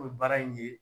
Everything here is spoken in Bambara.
N'o ye baara in ye